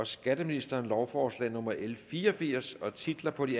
skatteministeren lovforslag nummer l fire og firs titlerne på de